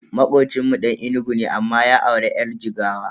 Makocinmu Dan Enugu ne amma ya auri yar Jigawa.